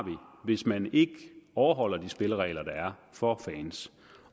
hvis man ikke overholder de spilleregler der er for fans